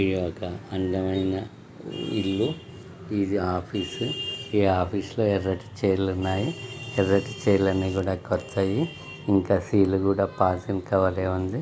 ఇది ఒక అందమైన ఇల్లు ఇది ఆఫీస్ ఈ ఆఫీస్ లో ఎర్రటి చైర్ లు ఉన్నాయి. ఎర్రటి చైర్ లు అన్ని కూడా కొత్తయి. ఇంకా సీల్ కూడా పోల్తిన్ కవర్ ఏ ఉంది.